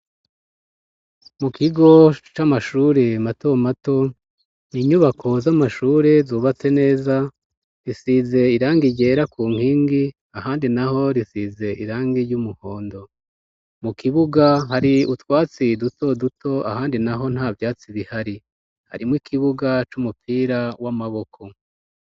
Mu kigo c'amashuri matomato, inyubako z'amashuri zubatse neza, zisize irangi ryera ku nkingi, ahandi naho risize irangi ry'umuhondo. Mu kibuga hari utwatsi dutoduto ahandi naho nta vyatsi bihari. Harimo ikibuga c'umupira w'amaboko.